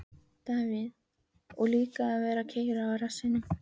Davíð: Og líka að vera að keyra á rassinum.